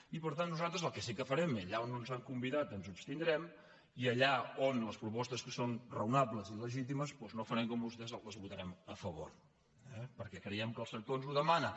i per tant nosaltres el que sí que farem és que allà on no ens han convidat ens hi abstindrem i allà on les propostes són raonables i legítimes doncs no farem com vostès les votarem a favor eh perquè creiem que el sector ens ho demana